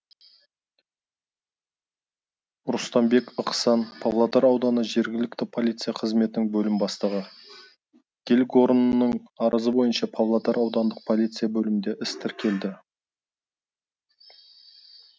рұстамбек ықсан павлодар ауданы жергілікті полиция қызметінің бөлім бастығы гельгорнның арызы бойынша павлодар аудандық полиция бөлімінде іс тіркелді